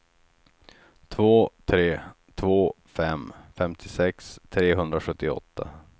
två tre två fem femtiosex trehundrasjuttioåtta